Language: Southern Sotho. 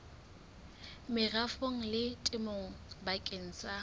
merafong le temong bakeng sa